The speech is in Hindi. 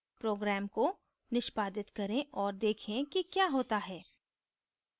program को निष्पादित करें और देखें कि क्या होता है